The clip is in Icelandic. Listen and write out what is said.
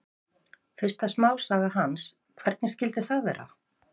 Fyrsta smásaga hans, Hvernig skyldi það vera?